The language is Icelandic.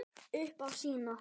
Upp á sína.